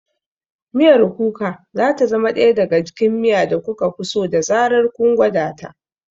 Miyar Kuka za ta zama ɗaya daga cikin miya da kuka fi so da zarar kun gwada ta.